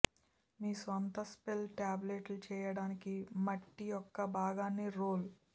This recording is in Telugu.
మీ సొంత స్పెల్ టాబ్లెట్ చేయడానికి మట్టి యొక్క భాగాన్ని రోల్